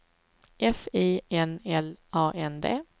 F I N L A N D